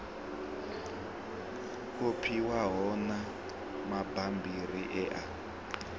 kopiwaho na mabammbiri e a